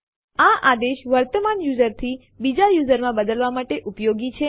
આ આદેશ વર્તમાન યુઝર થી બીજા યુઝર માં બદલવા માટે ઉપયોગી છે